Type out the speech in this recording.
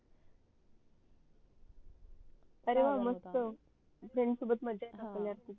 अरे वाह मस्त